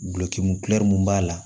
Gulɔki mun b'a la